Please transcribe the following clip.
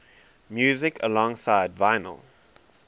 music alongside vinyl